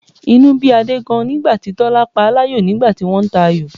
Inú bí Adé gan-an ni nígbà tí Tọ́lá paláyò nígbà tí wọ́n ń ta ayò